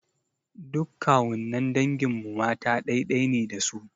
Duk kawunnan dangin mu mata ɗai-ɗai ne da su.